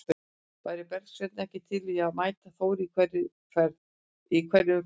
Væri Bergsveinn ekki til í að mæta Þór í hverri umferð?